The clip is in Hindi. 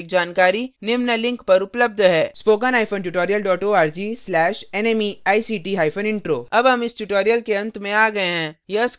इस mission पर अधिक जानकारी निम्न लिंक पर उपलब्ध है